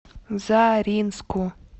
заринску